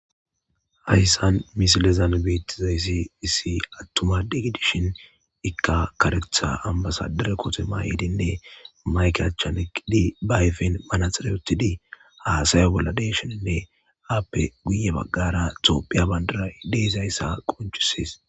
hayssan misilezan beettizayssi issi attuma degidishin ikka karetha ambasadere kote mayedinne mayke achchane qidi bayfin manaxereotidi haasaya bolla deeshoninne aappe guye baggara toophiya bandara ideezayssa qonchisis